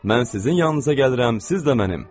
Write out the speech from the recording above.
Mən sizin yanınıza gəlirəm, siz də mənim.